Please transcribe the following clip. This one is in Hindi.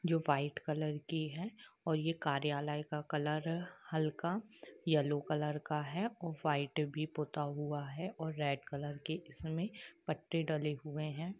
जो वाइट कलर की है और ये कार्यालय का कलर हल्का येल्लो कलर का है और वाइट भी पुता हुआ है और रेड कलर के इसमें पट्टे डले हुए है।